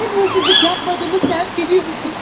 Mənim hırsızlık yapmadığımı sən biliyorsun.